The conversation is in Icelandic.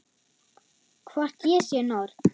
Hvort ég sé norn.